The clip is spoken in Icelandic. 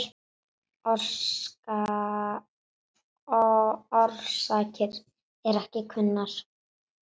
Orsakir eru ekki kunnar.